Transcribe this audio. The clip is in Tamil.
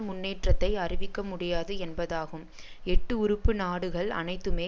முன்னேற்றத்தை அறிவிக்க முடியாது என்பதாகும் எட்டு உறுப்பு நாடுகள் அனைத்துமே